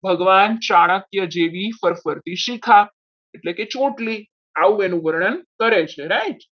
ભગવાન ચાણક્ય જેવી પર પડતી શિખા એટલે કે ચોટલી આવું એનું વર્ણન કરે છે right